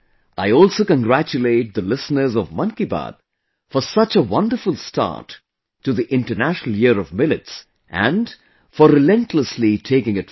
I also congratulate the listeners of 'Mann Ki Baat' for such a wonderful start to the International Year of Millets and for relentlessly taking it forward